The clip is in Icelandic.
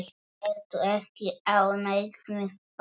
Ertu ekki ánægð með það?